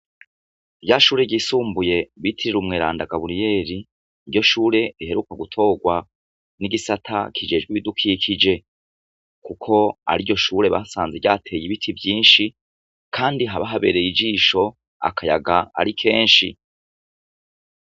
Rya shure ryisumbuye bitirira umweranda Gaburiyeri niryo shure riheruka gutorwa n'igisata kijejwe ibidukikije kuko ari ryo shure basanze ryateye ibiti vyinshi, kandi haba habereye ijisho akayaga ari kenshi.